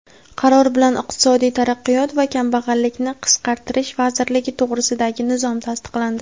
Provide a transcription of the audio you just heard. Qaror bilan Iqtisodiy taraqqiyot va kambag‘allikni qisqartirish vazirligi to‘g‘risidagi nizom tasdiqlandi.